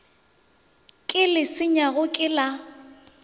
ke le senyago ke la